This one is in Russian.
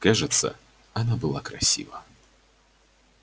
кажется она была красива